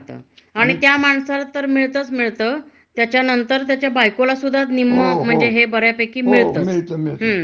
तर अस सगळ म्हणजे हे जे आहे, हं. तर ते सगळ म्हणजे अनिशश्तेच आहे,